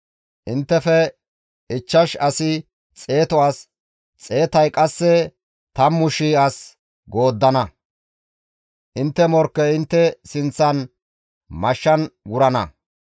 Inttefe ichchash asi xeetu as, xeetay qasse 10,000 as gooddana; intte morkkey intte sinththan mashshan wurana.